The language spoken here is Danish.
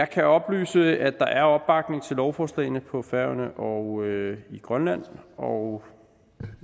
kan oplyse at der er opbakning til lovforslagene på færøerne og i grønland og